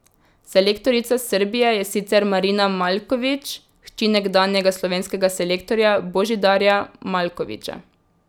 Selektorica Srbije je sicer Marina Maljković, hči nekdanjega slovenskega selektorja Božidarja Maljkovića.